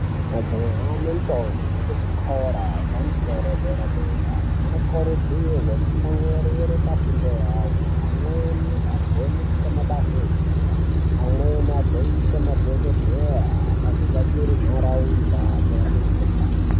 Majaha nendombo dzekuzvikora epamusoro yedera-dera anokurudzirwe kutsamwirire pafundo yavo. Amweni agone kuita mabasa enyara, amweni agoite madhogodheya agobatsire nharaunda achirape mikuhlani.